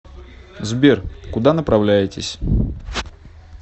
сбер куда направляетесь